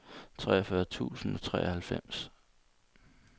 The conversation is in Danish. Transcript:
treogfyrre tusind og treoghalvfems